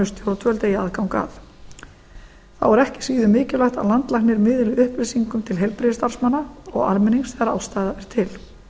stjórnvöld eigi aðgang að þá er ekki síður mikilvægt að landlæknir miðli upplýsingum til heilbrigðisstarfsmanna og almennings þegar ástæða er til